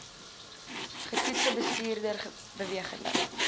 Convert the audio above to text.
getoetste bestuurders bewegende